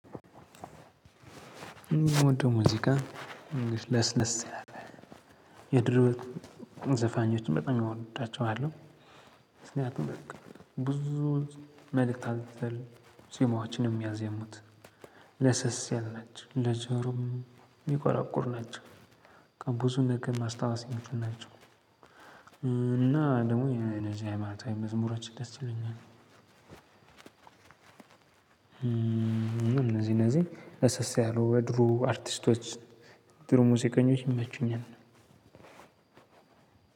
የምወደው ሙዚቃ ትንሽ ለስለስ ያለ፤ የድሮዎቹን ዘፋኞችን በጣም እወዳቸዋለሁ! ምክንያቱም በቃ ብዙ መልእክት አዘል ዜማዎችን ነው የሚያዜሙት። ለስለስ ያሉ ናቸው። ለጆሮም የሚቆራቁር ናቸው ብዙ ልክ ማስታወስ ነች ናቸው እና ደግሞ አነዚህ ሃይማኖታዊ መዝሙሮች ደስ ይሉኛል። እነዚህ እነዚህ ለስለስ ያሉ የድሮ አርቲስቶች የድሮ ሙዚቀኞች ይመቹኛል።